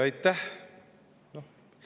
Aitäh!